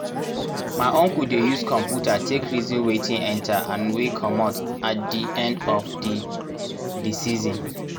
my uncle dey use computer take reason wetin enter and wey commot at di end of di di season.